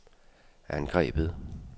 angrebet